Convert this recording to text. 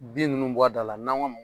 Bin ninnu bɔ a da la n'an ko a ma